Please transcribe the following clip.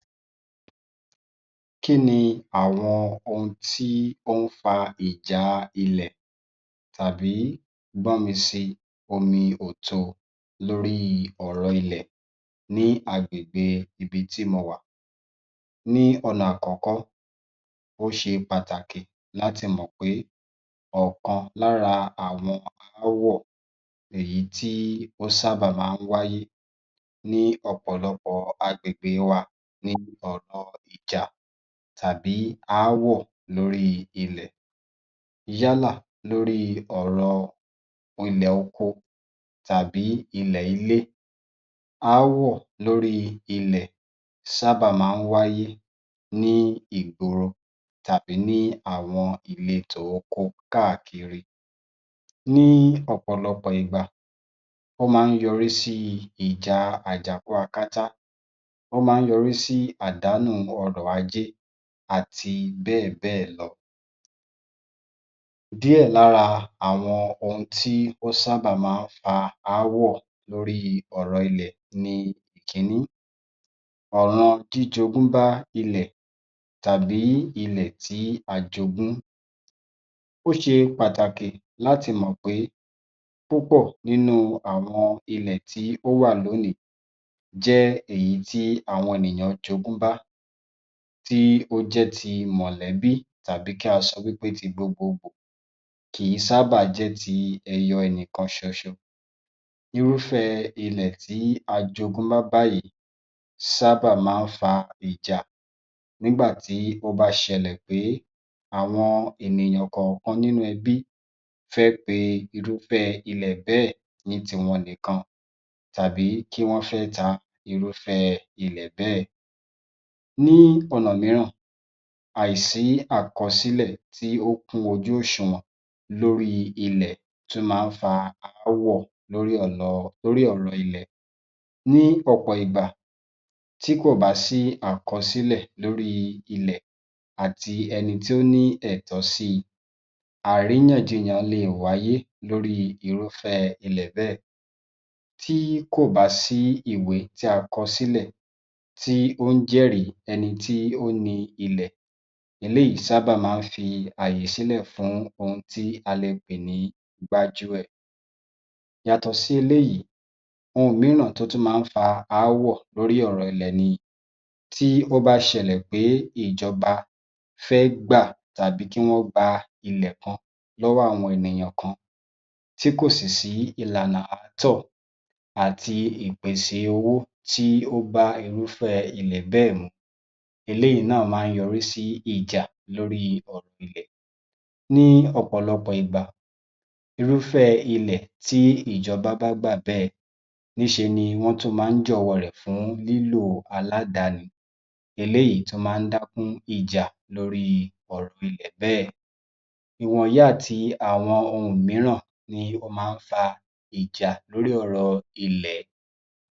Kí ni àwọn ohun tí ó ń fa ìjà ilẹ̀ tàbí gbọ́nmi si omi ò to lórí ọ̀rọ̀ ilẹ̀ ní agbègbè ibi ti ́ mo wà. Ní ọ̀nà àkọ́kọ́ ó ṣe pàtàkì láti mọ̀ pé ọ̀kan lára àwọn aáwọ̀ ni èyí tí ó sábà máa ń wáyé ní ọ̀pọ̀lọpọ̀ agbègbè wa ni ọ̀rọ̀ ìjà tàbí aáwọ̀ lórí ilẹ̀ yálà lórí ọ̀rọ̀ ilẹ̀ oko tàbí ilẹ̀ ilé aáwọ̀ lórí ilẹ̀ sábà máa ń wáyé ní ìgboro tàbí ní àwọn ìletò oko káàkiri ní ọ̀pọ̀lọpọ̀ ìgbà ó máa ń yọrí sí ìjà àjàkúakátá, ó máa ń yọrí sí àdánù ọrọ̀ ajé àti bẹ́ẹ̀ bẹ́ẹ̀ lọ. Díẹ̀ lára àwọn ohun tí ó sábà máa ń fa aáwọ̀ lórí ọ̀rọ̀ ilẹ̀ ni Ìkíní ọ̀rọ̀ jíjogún ba ilẹ̀ tàbí́ ilẹ̀ tí a jogún, ó ṣe pàtàkì láti mọ̀ pé púpọ̀ nínú awọn ilẹ̀ tí ó wà lónìí jẹ́ èyí tí àwọn ènìyàn jogún bá tí ó jẹ́ ti mọ̀lẹ́bí tàbí kí a sọ wí pé ti gbogbogbò kìí sábà jẹ́ ti ẹyọ ẹnìkan ṣoṣo irúfẹ́ ilẹ̀ tí a jogún wá báyìí sábà máa ń fa ìjà nígbà tí ó bá ṣẹlẹ̀ pé àwọn ènìyàn kọ̀ọ̀kan nínú ẹbí fẹ́ ṣe irúfẹ́ ilẹ̀ bẹ́ẹ̀ ní tiwọn nìkan tàbí tí wọ́n fẹ́ ta irúfẹ́ ilè bẹ́ẹ̀. Ní ọ̀nà mìíràn, àìsí àkọsílẹ̀ tí ó kún ojú òṣùwọ̀n lórí ilẹ̀ tún máá ń fa aáwọ̀ lórí ọ̀rọ̀ ilẹ̀. Ní ọ̀pọ̀ ìgbà tí kò bá sí àkọsílẹ̀ lórì ilẹ̀ àti ẹni tí ó ní ẹ̀tọ́ sí i àríyàjiyàn le è wáyé lórí irúfẹ́ ilẹ̀ bẹ́ẹ̀, tí kò bá sí ìwé tí a kọ sílẹ̀ tí ó ń jẹ́rìí ẹni tí ó ni ilẹ̀ eléyìí sábà ń fi ààyè sílẹ̀ fún ohun tí a lè pè ní gbájúẹ̀. Yàtọ̀ sí eléyìí ohun mìíràn tí ó tún mán ń fa aáwọ̀ lórí ọ̀rọ̀ ilẹ̀ ni, tí ó bá ṣẹlẹ̀ pé ìjọba fẹ́ gbà tàbí tí wọ́n gba ilẹ̀ kan lọ́wọ́ àwọn ènìyàn kan tí kò sì sí ìlànà àátọ̀ àti ìpèsè owó tí ó bá irúfẹ́ ilẹ̀ bẹ́ẹ̀ mu eléyìí náà máa ń yọrí sí ìjà lórí ọ̀rọ̀ ilẹ̀ ní ọ̀pọ̀lọpọ̀ ìgbà irúfẹ́ ilẹ̀ tí ìjọba bá gbà bẹ́ẹ̀ níṣe ni wọ́n tún máa ń jọ̀wọ́ rẹ̀ fún lílò aládàáni eléyìí tún máa ń dákún ìjà lórí ọ̀rọ̀ ilẹ̀ bẹ́ẹ̀ ìwọ̀nyì àti àwọn ohun mìíran ni ó máa ń fa ìjà lórí ọ̀rọ̀ ilẹ̀.